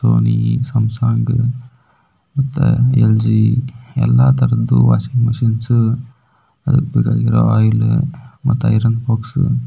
Sony Samsung ಮತ್ತೆ LG ಎಲ್ಲ ತರದು ವಾಷಿಂಗ್ ಮಶಿನ್ಸ್ ಮತ್ತೆ ಐರನ್ ಬಾಕ್ಸ್ --